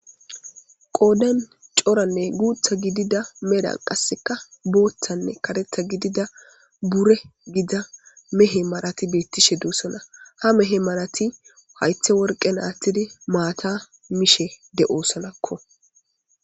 Qooden coranne guutha gidida medan qasseka booththanne kateta gidida bure gida mehe malati beettishe duussona ha mehe malati haythe worqen aattidi maata mishe de'oosanakko.